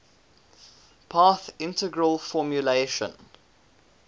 path integral formulation